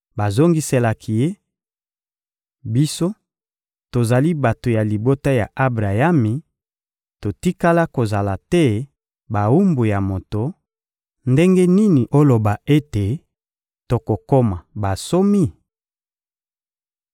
Bazongiselaki Ye: — Biso, tozali bato ya libota ya Abrayami, totikala kozala te bawumbu ya moto; ndenge nini oloba ete tokokoma bansomi?